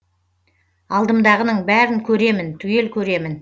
алдымдағының бәрін көремін түгел көремін